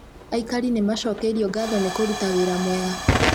Aikari nĩmacokeirwo ngatho nĩ kũruta wĩra mwega